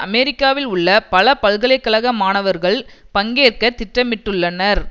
அமெரிக்காவில் உள்ள பல பல்கலை கழக மாணவர்கள் பங்கேற்கத் திட்டமிட்டுள்ளனர்